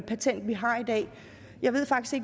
patentet